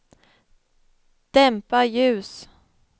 dämpa ljus